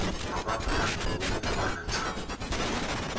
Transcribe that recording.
mabaphathwe ngokufana ncam